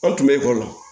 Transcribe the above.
An tun bɛ ekɔli la